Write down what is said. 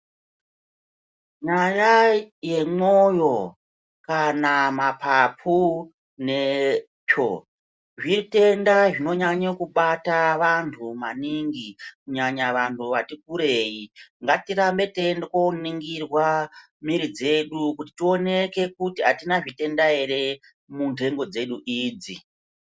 Nyaya yemwoyo kana mapapu netsvoo zvitenda zvinonyanya kubata vantu maningi kunyanya vantu vati kurei ngatirambe teienda koringirwa miri dzedu kuti atina zvitenda ere munhengo dzedu idzi.